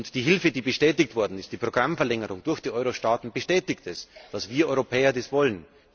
Die Hilfe, die bestätigt worden ist, die Programmverlängerung durch die Euro Staaten, bestätigt, dass wir Europäer das wollen.